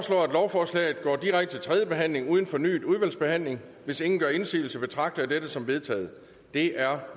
lovforslaget går direkte til tredje behandling uden fornyet udvalgsbehandling hvis ingen gør indsigelse betragter jeg dette som vedtaget det er